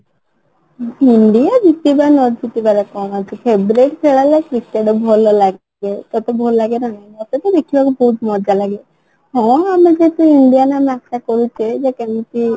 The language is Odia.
india ଜିତିବା ନ ଜିତିବାର କ'ଣ ଅଛି favourite ଖେଳ ହେଲା cricket ଭଲ ଲାଗେ ତତେ ଭଲ ଲାଗେ ନା ନାଇଁ ମତେ ତ ଦେଖିବାକୁ ବହୁତ ମଜା ଲାଗେ ହଁ ଆମେ ଯଦି indian ବୋଲି ଆଶା କରୁଛୁ ତ ସେମିତି